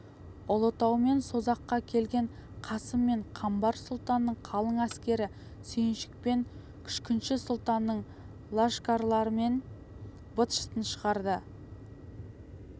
ұлытау мен созаққа келген қасым мен қамбар сұлтанның қалың әскері сүйіншік пен күшкінші сұлтанның лашкарларының быт-шытын шығарды